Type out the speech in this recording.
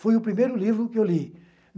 Foi o primeiro livro que eu li.